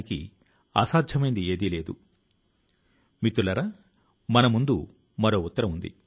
ఈ సంవత్సరం కూడా పరీక్షలకు ముందు విద్యార్థులతో చర్చించాలని ప్రణాళిక ను వేసుకొంటున్నాను